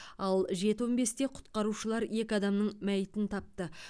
ал жеті он бесте құтқарушылар екі адамның мәйітін тапты